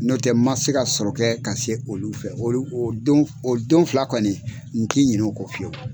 N'o tɛ ma se ka sɔrɔ ka se olu fɛ o don fila kɔni n tɛ ɲinɛ olu fiyewu.